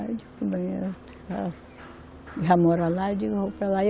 Já mora lá, eu digo, eu vou para lá.